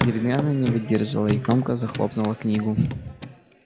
гермиона не выдержала и громко захлопнула книгу